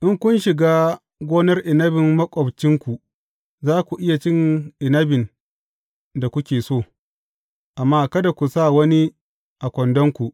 In kun shiga gonar inabin maƙwabcinku, za ku iya cin inabin da kuke so, amma kada ku sa wani a kwandonku.